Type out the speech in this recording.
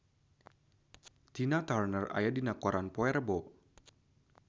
Tina Turner aya dina koran poe Rebo